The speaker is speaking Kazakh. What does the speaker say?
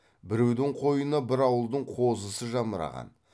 біреудің қойына бір ауылдың қозысы жамыраған